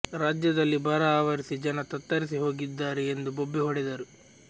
ರಾಜ್ಯದಲ್ಲಿ ಬರ ಆವರಿಸಿ ಜನ ತತ್ತರಿಸಿ ಹೋಗಿದ್ದಾರೆ ಎಂದು ಬೊಬ್ಬೆ ಹೊಡೆದರು